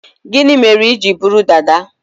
Gini mere iji buru dada?